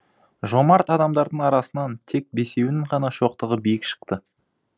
жомарт адамдардың арасынан тек бесеуінің ғана шоқтығы биік шықты